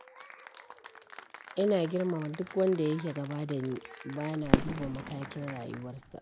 Ina girmama duk wanda yake gaba da ni, ba na duba matakin rayuwarsa.